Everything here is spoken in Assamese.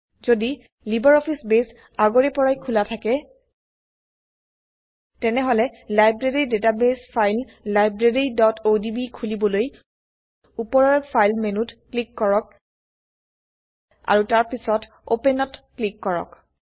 যদি লাইব্ৰঅফিছ বেস আগৰে পৰাই খোলা থাকে তেনেহলে লাইব্ৰেৰী ডাটাবেস ফাইল libraryঅডিবি খুলিবলৈ উপৰৰ ফাইল মেনুত ক্লিক কৰক আৰু তাৰপিছত ওপেনত ক্লিক কৰক